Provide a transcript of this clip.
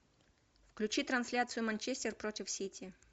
включи трансляцию манчестер против сити